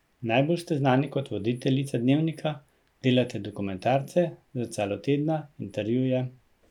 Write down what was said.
Najbolj ste znani kot voditeljica Dnevnika, delate dokumentarce, Zrcalo tedna, intervjuje ...